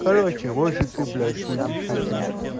короче может ты блять будешь этим